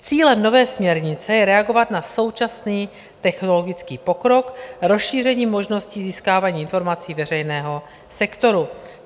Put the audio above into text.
Cílem nové směrnice je reagovat na současný technologický pokrok rozšířením možností získávání informací veřejného sektoru.